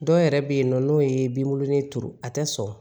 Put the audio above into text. Dɔw yɛrɛ bɛ yen nɔ n'o ye binkurunin turu a tɛ sɔn